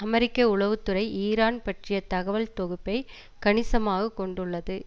அமெரிக்க உளவு துறை ஈரான் பற்றிய தகவல் தொகுப்பை கணிசமாக கொண்டுள்ளது